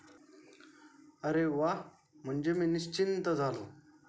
अरे वा म्हणजे मी निश्चिन्त झालो.